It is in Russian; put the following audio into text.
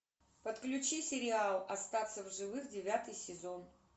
подключи сериал остаться в живых девятый сезон